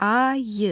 Ayı.